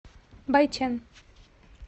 байчэн